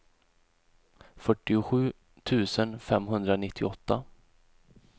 fyrtiosju tusen femhundranittioåtta